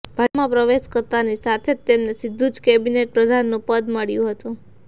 ભાજપમાં પ્રવેશ કરતાની સાથે જ તેમને સીધું જ કેબિનેટ પ્રધાનનું પદ મળ્યું હતું